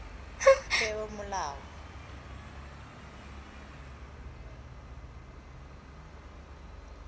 peomolao